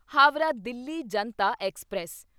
Howrah Delhi Janata express